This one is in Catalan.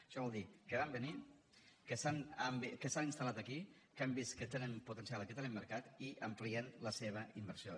això vol dir que van venir que s’han instal·lat aquí que han vist que tenen potencial aquí hi tenen mercat i amplien la seva inversió